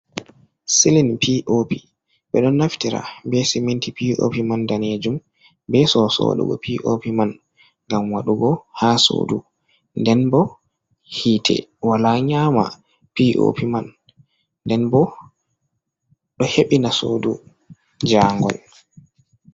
Silin pop ɓe ɗon naftira be siminti pop man danejum be soso wadugo pop man ngam wadugo ha sodu nden bo hite wala nyama pop man nden ɓo ɗo hebina sodu jangol.